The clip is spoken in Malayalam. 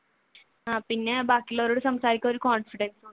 പിന്നെ ബാക്കിയുള്ളവരോട് സംസാരിക്കാൻ ഒരു confidence